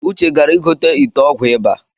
Uche gara igote ite ọgwụ ịba